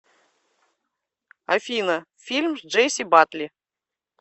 афина фильм с джейси батли